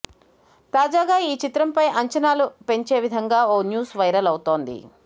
తాజాగా ఈ చిత్రంపై అంచనాలు పెంచే విధంగా ఓ న్యూస్ వైరల్ అవుతోంది